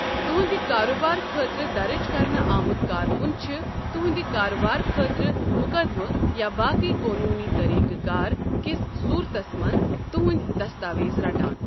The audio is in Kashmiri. تُہٕنٛدِ کارٕبارٕ خٲطرٕ درٕج کرنہٕ آمت كاركن چھِ تُہٕنٛدِ کارٕبارٕ خٲطرٕ مُقدِمہٕ یا باقٕیہ قونوٗنی طٔریٖقہٕ کار کِس صوٗرتس منٛز تُہٕنٛدۍ دستاویز رَٹان ۔